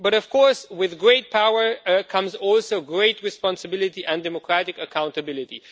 But of course with great power comes also great responsibility and democratic accountability.